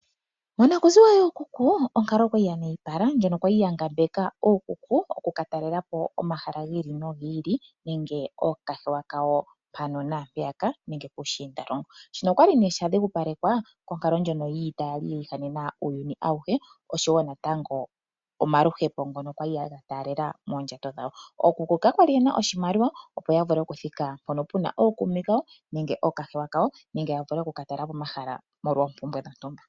Onakuziwa yookuku onkalo okwali ya nyayipala ndyono ya li ya ngambeka ookuku oku ka talela po omahala gi ili no gi ili nenge ookahewa kawo mpano naampeyaka nenge puushindalongo shino okwali nee sha dhigupalekwa konkalo ndyono yiita ya li yi ihanena uuyuni awuhe, oshowo natango omaluhepo ngono gali ya taalela moondjato dhawo ookuku kakwali ye na oshimaliwa opo ya vule okuthika mpono puna ookuume kawo nenge ookahewa kawo nenge ya vule oku ka talela po omahala molwa oompumbwe dhontumba.